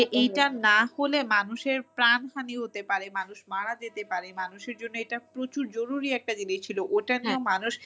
এইটা না হলে মানুষের প্রাণহানি হতে পারে মানুষ মারা যেতে পারে মানুষের জন্য এটা প্রচুর জরুরি একটা জিনিস ছিল ওটা নিয়েও মানুষ